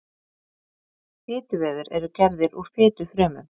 Fituvefir eru gerðir úr fitufrumum.